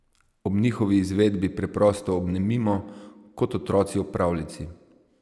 Ob njihovi izvedbi preprosto obnemimo, kot otroci ob pravljici.